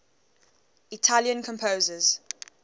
italian composers